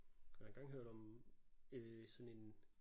Jeg har engang hørt om øh sådan en